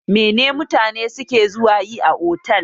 Mene ne mutane suke zuwa yi a otal?